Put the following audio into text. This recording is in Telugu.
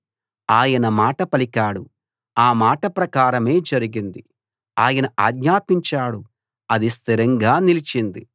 ఆయన మాట పలికాడు ఆ మాట ప్రకారమే జరిగింది ఆయన ఆజ్ఞాపించాడు అది స్థిరంగా నిలిచింది